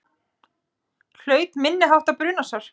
Hlaut minniháttar brunasár